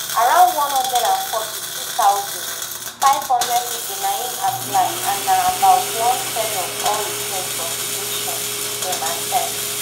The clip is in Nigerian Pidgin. around one hundred and forty-two thousand, five hundred pipo na im apply and na about one third of all requests for protection dem accept